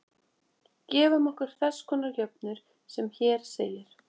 Gefum okkur þess konar jöfnur sem hér segir: